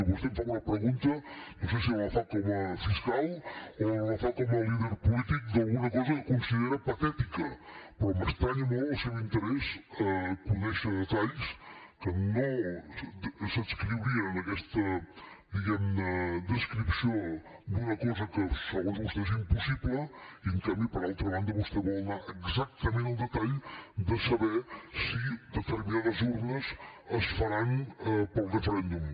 vostè em fa una pregunta no sé si me la fa com a fiscal o me la fa com a líder polític d’alguna cosa que considera patètica però m’estranya molt el seu interès a conèixer detalls que no s’adscriurien en aquesta diguem ne descripció d’una cosa que segons vostè és impossible i en canvi per altra banda vostè vol anar exactament al detall de saber si determinades urnes es faran per al referèndum